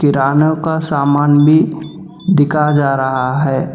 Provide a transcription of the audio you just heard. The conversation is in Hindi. किरानो का सामान भी बिका जा रहा है।